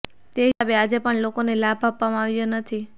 તે હિસાબે આજે પણ લોકોને લાભ આપવામાં આવ્યો નથી